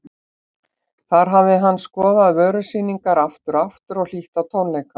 Þar hafði hann skoðað vörusýningar aftur og aftur og hlýtt á tónleika.